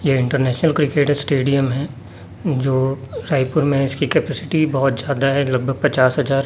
ये international cricket stadium हैं जो रायपुर में हैं इसकी कप्यासिटी बहोत ज्यादा हैं लगभग पचास हजार।